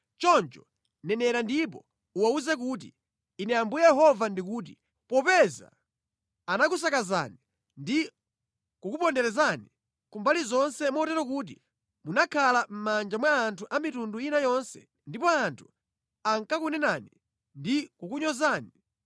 Choncho nenera ndipo uwawuze kuti, ‘Ine Ambuye Yehova ndikuti: Popeza anakusakazani ndi kukuponderezani ku mbali zonse motero kuti munakhala mʼmanja mwa anthu a mitundu ina yonse ndipo anthu ankakunenani ndi kukunyozani,